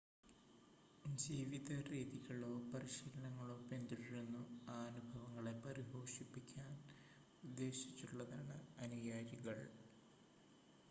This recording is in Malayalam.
ജീവിത രീതികളോ പരിശീലനങ്ങളോ പിന്തുടരുന്നു ആ അനുഭവങ്ങളെ പരിപോഷിപ്പിക്കാൻ ഉദ്ദേശിച്ചുള്ളതാണ് അനുയായികൾ